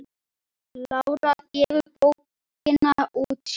Lára gefur bókina út sjálf.